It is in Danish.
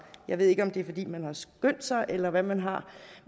jeg ved ikke om det er fordi man har skyndt sig eller hvad man har